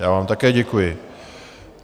Já vám také děkuji.